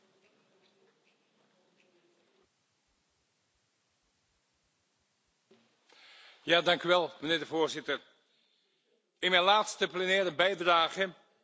Voorzitter, in mijn laatste plenaire bijdrage wil ik opnieuw de verdediging van godsdienstvrijheid in China bepleiten bij alle Europese instellingen.